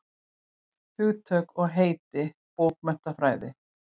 Hugtök og heiti bókmenntafræði.